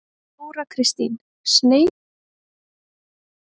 Þóra Kristín: Sneypuför?